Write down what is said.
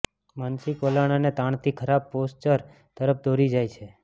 માનસિક વલણ અને તાણથી ખરાબ પોસ્ચર તરફ દોરી જાય છે